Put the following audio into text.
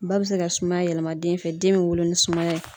Ba bɛ se ka sumaya yɛlɛma den fɛ den bɛ wolo ni sumaya ye.